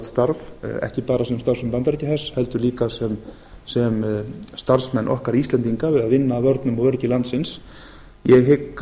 starf ekki bara sem starfsmenn bandaríkjahers heldur líka sem starfsmenn okkar íslendinga að vinna að vörnum og öryggi landsins ég hygg